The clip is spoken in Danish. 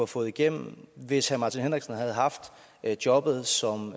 få igennem hvis herre martin henriksen havde haft jobbet som